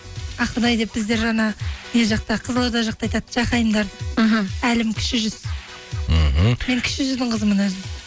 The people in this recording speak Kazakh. ақұдай деп біздер жаңа не жақта қызылорда жақта айтады жахайымдарды іхі әлім кіші жүз мхм мен кіші жүздің қызымын өзім